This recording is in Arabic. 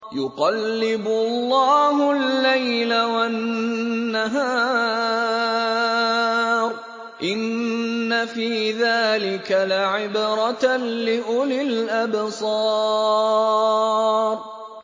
يُقَلِّبُ اللَّهُ اللَّيْلَ وَالنَّهَارَ ۚ إِنَّ فِي ذَٰلِكَ لَعِبْرَةً لِّأُولِي الْأَبْصَارِ